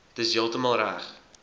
dis heeltemal reg